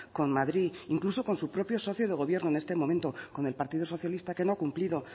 con madrid incluso con su propio socio de gobierno en este momento con el partido socialista que no ha cumplido